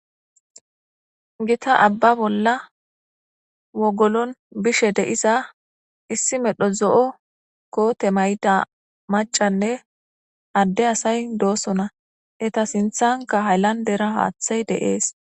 gita abba bolla wogolon bishe de7iza issi medho zo7o koote mayda macanne adde asay doosona eta sinthanka hayllandera haaththay deees